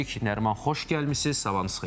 Nəriman, xoş gəlmisiz, sabahınız xeyir.